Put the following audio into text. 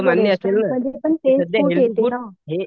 सध्या healthy food हे